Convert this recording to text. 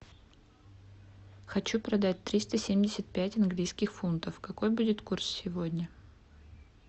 хочу продать триста семьдесят пять английских фунтов какой будет курс сегодня